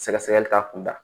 Sɛgɛsɛgɛli k'a kun da